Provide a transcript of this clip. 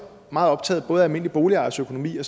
meget optaget af både almindelige boligejeres økonomi og